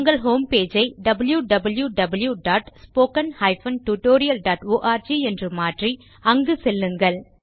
உங்கள் home page ஐ wwwspoken tutorialorgஎன்று மாற்றி அங்கு செல்லுங்கள்